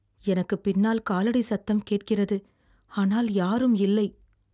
எனக்குப் பின்னால் காலடி சத்தம் கேட்கிறது, ஆனால் யாரும் இல்லை.